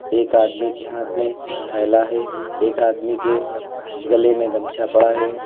एक आदमी के हाथ में थैला है एक आदमी के गले में गमछा पड़ा है।